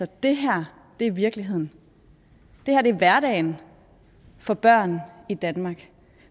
det her er virkeligheden det her er hverdagen for børn i danmark